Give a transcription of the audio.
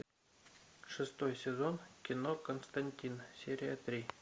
шестой сезон кино константин серия три